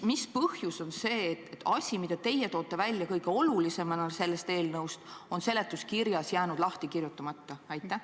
Mis põhjusel on asi, mille teie kõige olulisemana selles eelnõus olete välja toonud, seletuskirjas jäänud lahti kirjutamata?